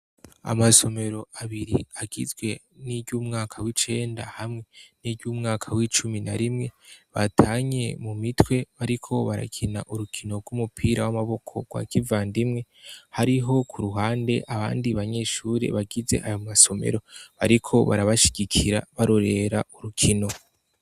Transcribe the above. Amasomero abiri agizwe n'iryo umwaka w'icenda hamwe n'iryo umwaka w'icumi na rimwe batanye mu mitwe bariko barakina urukino rw'umupira w'amaboko rwa kiva ndimwe hariho ku ruhande abandi banyeshure bagize ayo masomero bariko barabashigikira barorera uruke hino.